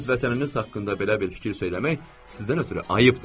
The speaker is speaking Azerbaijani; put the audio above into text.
Öz vətəninizi haqqında belə bir fikir söyləmək sizdən ötrü ayıbdır.